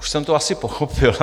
Už jsem to asi pochopil.